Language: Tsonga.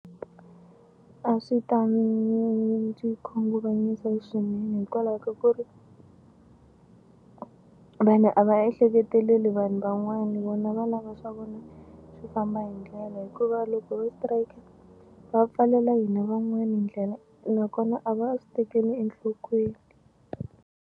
A swi ta ndzi khunguvanyisa swinene hikwalaho ka ku ri vanhu a va ehleketeleli vanhu van'wana vona va lava swa vona swi famba hi ndlela hikuva loko va strike va pfalela hina van'wani ndlela nakona a va swi tekeli enhlokweni.